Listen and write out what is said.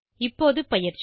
இப்போது பயிற்சி